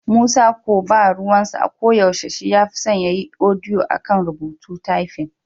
Musa ko ba ruwansa, ko yaushe shi ya fi son ya yi odiyo a kan rubutu/tafin.